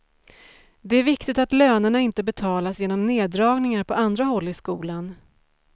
Det är viktigt att lönerna inte betalas genom neddragningar på andra håll i skolan.